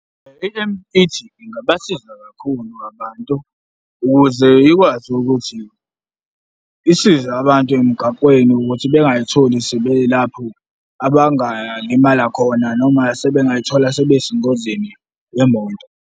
I-E_M_T ingabasiza kakhulu abantu ukuze ikwazi ukuthi isize abantu emgaqweni ukuthi bengakayitholi sebe lapho abangalimala khona noma sebengazithola sebesengozini yemoto.